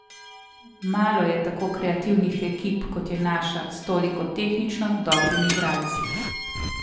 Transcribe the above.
Malo je tako kreativnih ekip kot je naša, s toliko tehnično dobrimi igralci.